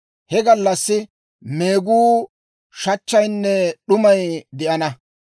He gallassi meeguu, shachchaynne d'umay de'enna;